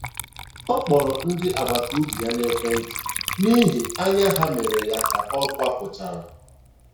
Ọ kpọrọ ndị agbataobi ya n'ekwentị n'ihi anya ha mere ya ka ọ kwapụchara